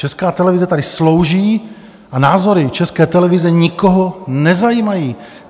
Česká televize tady slouží a názory České televize nikoho nezajímají.